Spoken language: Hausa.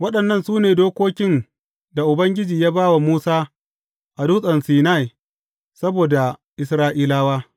Waɗannan su ne dokokin da Ubangiji ya ba wa Musa a Dutsen Sinai saboda Isra’ilawa.